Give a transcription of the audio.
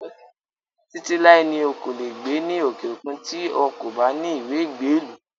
Títí láé ni o kò lè gbé ní òkè òkun tí ó kò bá ní ìwé ìgbélú